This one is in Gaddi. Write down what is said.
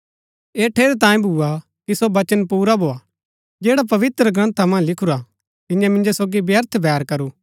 ऐह ठेरैतांये भुआ कि सो वचन पुरा भोआ जैडा पवित्रग्रन्था मन्ज लिखुरा तियें मिन्जो सोगी व्यर्थ बैर करू